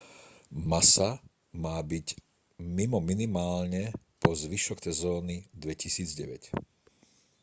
massa má byť mimo minimálne po zvyšok sezóny 2009